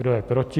Kdo je proti?